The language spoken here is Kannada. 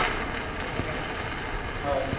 ಹಾ okay okay .